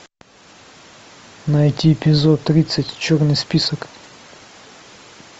найти эпизод тридцать черный список